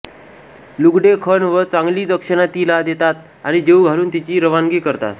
लुगडें खण व चांगली दक्षणा तिला देतात आणि जेवू घालून तिची रवानगी करतात